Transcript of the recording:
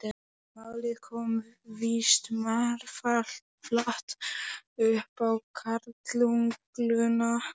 Málið kom víst marflatt upp á karlugluna.